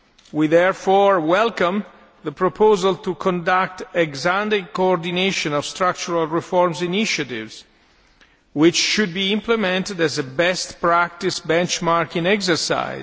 We therefore welcome the proposal to conduct ex ante coordination of structural reform initiatives, which should be implemented as a best practice benchmarking exercise.